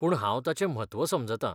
पूण हांव ताचें म्हत्व समजतां.